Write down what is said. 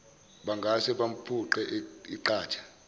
bangase bamphuce iqatha